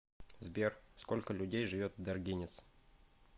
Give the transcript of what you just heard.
сбер сколько людей живет в даргинец